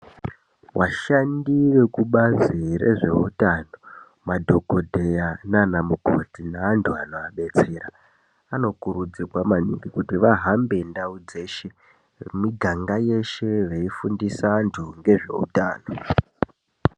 Ashandi vekubazi rezveutano madhokodheya nana mukoti neantu anoadetsera anokurudzirwa maningi kuti vahambe ndau dzeshe nemiganga yeshe veifundise antu ngezveutano.